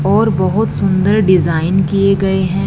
और बहोत सुंदर डिजाइन किए गए हैं।